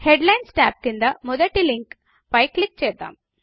headlines tab క్రింద మొదటి లింక్పై పై క్లిక్ చేద్దాము